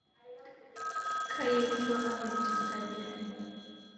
Kayerisho apeny teng'ajiai